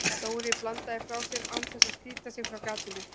Dóri bandaði frá sér án þess að slíta sig frá gatinu.